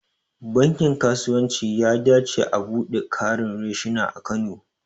Bankin kasuwanci ya dace au buɗe ƙarin reshina a kano.